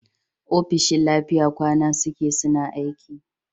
ofishin lafiya kwan suke suna aiki